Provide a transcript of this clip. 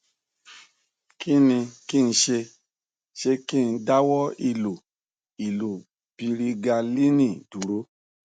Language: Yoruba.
kí ni kí n ṣe ṣé kí n dáwọ ìlo ìlo pirigalíìnì dúró